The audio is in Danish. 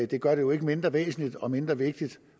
det gør det jo ikke mindre væsentligt og mindre vigtigt